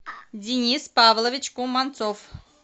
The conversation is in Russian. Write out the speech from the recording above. денис павлович куманцов